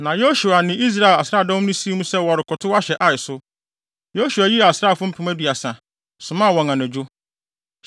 Na Yosua ne Israel nsraadɔm no sii mu sɛ wɔrekɔtow ahyɛ Ai so. Yosua yii asraafo mpem aduasa, somaa wɔn anadwo,